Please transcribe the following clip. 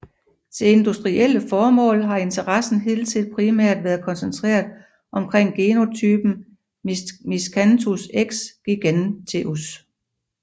Til industrielle formål har interessen hidtil primært været koncentreret omkring genotypen Miscanthus x giganteus